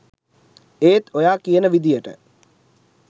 ඒත් ඔයා කියන විදියට